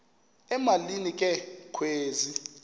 emalini ke kwezi